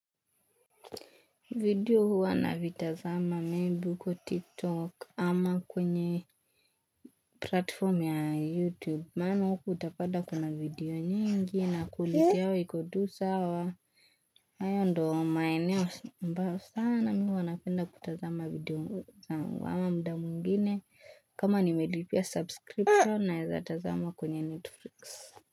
Video huwa navitazama may be uko TikTok ama kwenye platform ya YouTube. Maana huku utapata kuna video nyingi na quality yao iko tu sawa haya ndo maeneo ambayo sana mimi huwa napenda kutazama video zangu ama muda mwingine. Kama nimelipia subscription naeza tazama kwenye Netflix.